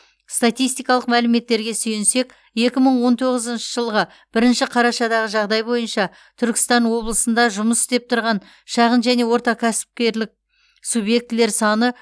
статистикалық мәліметтерге сүйенсек екі мың он тоғызыншы жылғы бірінші қарашадағы жағдай бойынша түркістан облысында жұмыс істеп тұрған шағын және орта кәсіпкерлік субъектілер саны